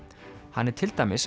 hann er til dæmis